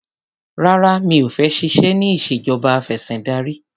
Rárá mi ò fẹ́ ṣiṣẹ́ ní ìṣèjọba afẹ̀sìndarí.